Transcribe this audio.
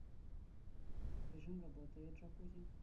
режим работы джакузи